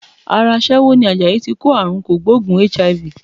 Ara aṣẹ́wó ni Àjàyí tí kó àrunkògbóògùn HIV.